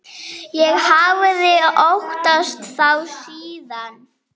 Ég hafði óttast þá síðan.